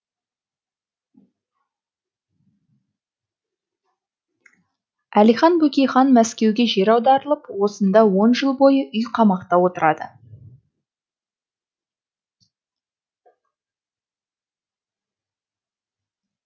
әлихан бөкейхан мәскеуге жер аударылып осында он жыл бойы үй қамақта отырады